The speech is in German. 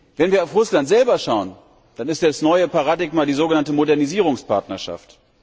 Wenn wir auf Russland selber schauen, dann ist das neue Paradigma die sogenannte Modernisierungspartnerschaft.